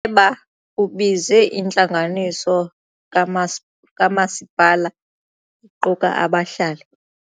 ba ubize intlanganiso kamasi kamasipala equka abahlali.